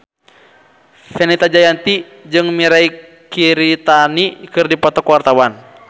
Fenita Jayanti jeung Mirei Kiritani keur dipoto ku wartawan